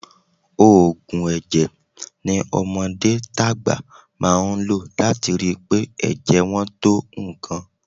Òògùn ẹ̀jẹ̀ ni ọmọdé tàgbà máa ń lò láti rí i pé ẹ̀jẹ̀ wọn tó nǹkan